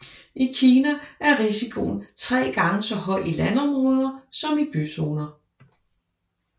I Kina er risikoen tre gange så høj i landområder som i byzoner